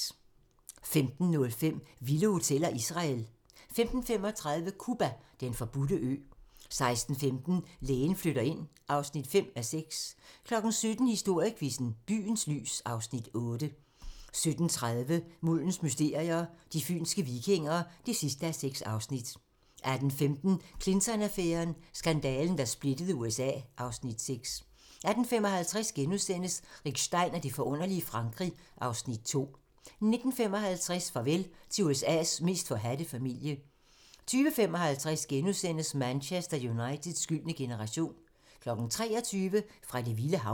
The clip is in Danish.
15:05: Vilde hoteller: Israel 15:35: Cuba: Den forbudte ø 16:15: Lægen flytter ind (5:6) 17:00: Historiequizzen: Byens lys (Afs. 8) 17:30: Muldens mysterier - De fynske vikinger (6:6) 18:15: Clinton-affæren: Skandalen, der splittede USA (Afs. 6) 18:55: Rick Stein og det forunderlige Frankrig (Afs. 2)* 19:55: Farvel til USA's mest forhadte familie 20:55: Manchester Uniteds gyldne generation * 23:00: Fra det vilde hav